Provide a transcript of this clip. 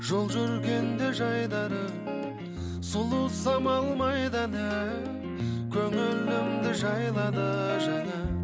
жол жүргенде жайдары сұлу самал майданы көңілімді жайлады жаңа